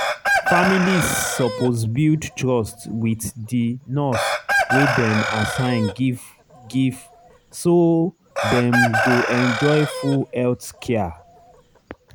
families suppose build trust wit di nurse wey dem assign give give so dem go enjoy full health care.